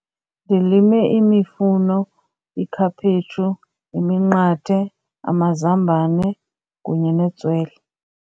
Ndilime imifuno, ikhaphetshu, iminqathe, amazambane kunye netswele.